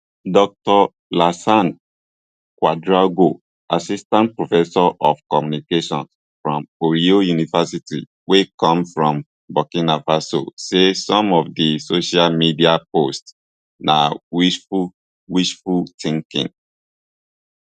dr lassane ouedraogo assistant professor of communications from ohio university wey come from burkina faso say some of di social media posts na wishful wishful thinking